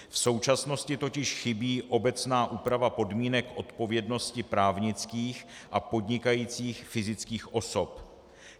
V současnosti totiž chybí obecná úprava podmínek odpovědnosti právnických a podnikajících fyzických osob.